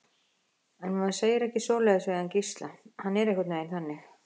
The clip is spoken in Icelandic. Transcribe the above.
En maður segir ekki svoleiðis við hann Gísla, hann er einhvern veginn þannig.